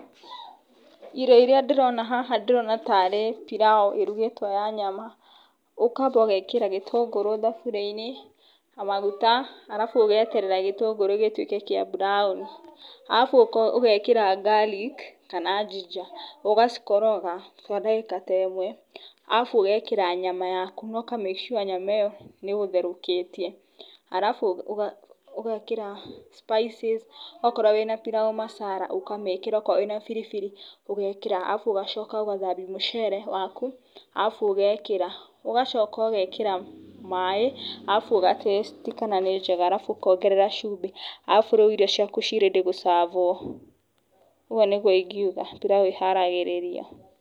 Irio iria ndĩrona haha ndĩrona tarĩ pirau ĩrugĩtwo na nyama, ũkamba ũgekĩra gĩtũngũrũ thaburiainĩ, na maguta arabu ũgeterera gĩtũngũrũ gĩtuĩke kĩa buraoni arafu ũgekĩra garlic kana ginger ũgacoka ũgakoroga kwa ndagĩka ta ĩmwe arabu ũgekĩra nyama yaku na ũka make sure nyama ĩyo nĩ ũgũtherũkĩtie, arabu ũgekĩra spices akorwo wĩna pilau masala ũkamĩkĩra akorwo wĩna biribiri ũgekĩra arabu ũgacoka ũgathambia mũcere waku arabu ũgekĩra, arabu ũgacoka ũgekĩra maaĩ arabu ũga taste kana nĩ njega ,arabu ũkongerera cumbĩ arabu rĩu irio ciaku ciĩ rĩdĩ gũcabwo ũguo nĩguo ingĩuga pilau ĩharagĩreĩrio.